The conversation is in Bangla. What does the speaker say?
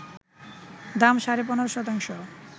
দাম সাড়ে ১৫ শতাংশ